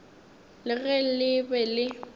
le ge le be le